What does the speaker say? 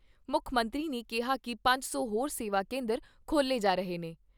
ਮੁੱਖ ਮੰਤਰੀ ਨੇ ਕਿਹਾ ਕਿ ਪੰਜ ਸੌ ਹੋਰ ਸੇਵਾ ਕੇਂਦਰ ਖੋਲ੍ਹੇ ਜਾ ਰਹੇ ਨੇ।